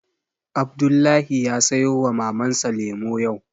Abdullahi ya sayo wa Mamar sa lemu yau